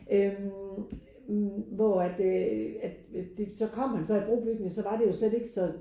Øh hvor at øh at det så kom han så i brobygning og så var det jo slet ikke så